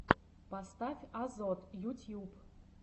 поставь азот ютьюб